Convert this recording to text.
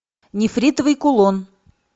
нефритовый кулон